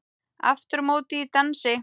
Aftur á móti í dansi.